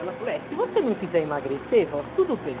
Ela falou, é, se você não quiser emagrecer, vó, tudo bem.